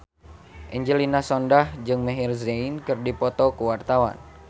Angelina Sondakh jeung Maher Zein keur dipoto ku wartawan